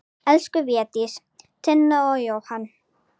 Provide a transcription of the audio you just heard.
Elsku Védís, Tinna og Jóhann.